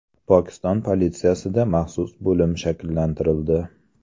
Pokiston politsiyasida maxsus bo‘lim shakllantirildi.